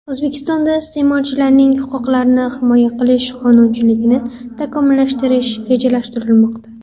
O‘zbekistonda iste’molchilarning huquqlarini himoya qilish qonunchiligini takomillashtirish rejalashtirilmoqda.